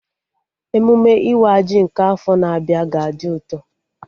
Emụme ịwa ji nke afọ na-abịa ga-adị ụtọ